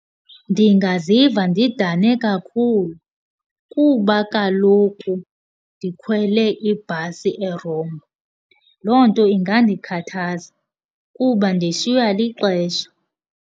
Ndingaziva ndidane kakhulu kuba kaloku ndikhwele ibhasi erongo. Loo nto ingandikhathaza kuba ndishiywa lixesha.